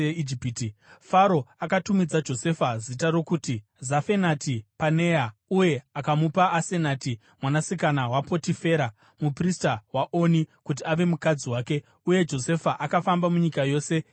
Faro akatumidza Josefa zita rokuti Zafenati-Panea uye akamupa Asenati mwanasikana waPotifera, muprista waOni, kuti ave mukadzi wake. Uye Josefa akafamba munyika yose yeIjipiti.